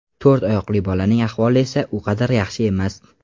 To‘rt oyoqli bolaning ahvoli esa u qadar yaxshi emas.